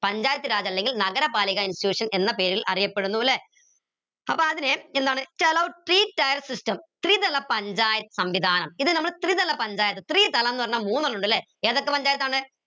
പഞ്ചായത്ത് അല്ലെങ്കിൽ നഗര പാലിക institution എന്ന പേരിൽ അറിയപ്പെടുന്നു ല്ലെ അപ്പോ അതിന് എന്താണ് three tier system പഞ്ചായ സംവിധാനം ഇത് നമ്മൾ ത്രിതല പഞ്ചായത്ത് ത്രിതലം ന്ന് പറഞ്ഞ മൂന്നെണ്ണം ഇണ്ട് ല്ലെ ഏതൊക്കെ പഞ്ചായത്താണ്